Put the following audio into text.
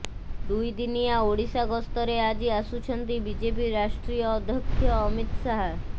ଦୁଇ ଦିନିଆ ଓଡ଼ିଶା ଗସ୍ତରେ ଆଜି ଆସୁଛନ୍ତି ବିଜେପି ରାଷ୍ଟ୍ରୀୟ ଅଧ୍ୟକ୍ଷ ଅମିତ ଶାହା